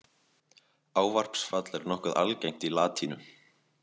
Ávarpsfall er nokkuð algengt í latínu.